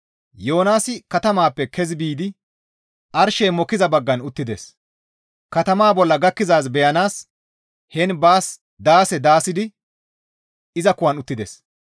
Yoonaasi katamaappe kezi biidi arshey mokkiza baggan uttides; katamaa bolla gakkizaaz beyanaas heen baas daase daasidi iza kuwan uttides.